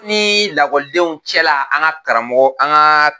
Nii lakɔlidenw cɛla an ga karamɔgɔ an gaa